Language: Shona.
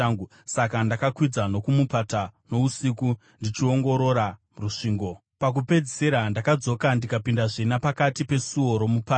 saka ndakakwidza nokumupata nousiku, ndichiongorora rusvingo. Pakupedzisira, ndakadzoka ndikapindazve napakati peSuo roMupata.